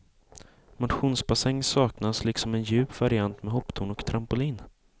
Motionsbassäng saknas, liksom en djup variant med hopptorn och trampolin.